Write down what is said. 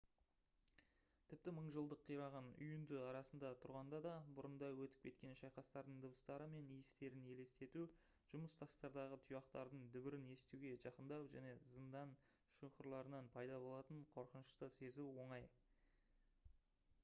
тіпті мың жылдық қираған үйінді арасында тұрғанда да бұрында өтіп кеткен шайқастардың дыбыстары мен иістерін елестету жұмыс тастардағы тұяқтардың дүбірін естуге жақындау және зындан шұңқырларынан пайда болатын қорқынышты сезу оңай